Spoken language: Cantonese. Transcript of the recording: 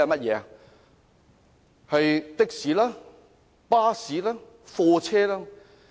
是的士、巴士、貨車。